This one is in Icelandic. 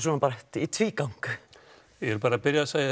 í tvígang ég vil byrja að segja